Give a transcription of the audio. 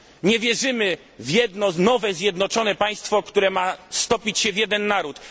Nie wierzymy w jedno nowe zjednoczone państwo, które ma stopić się w jeden naród.